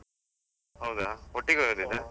ಹೌದಾ, ಒಟ್ಟಿಗೆ ?